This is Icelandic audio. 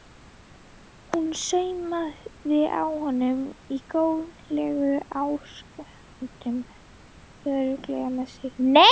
Hún saumar að honum í góðlegum ásökunartón, örugg með sig.